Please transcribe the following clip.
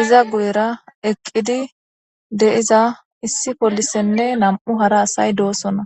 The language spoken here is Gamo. iza guyera eqqidi deiza issi polisenne nam7u hara asay doosona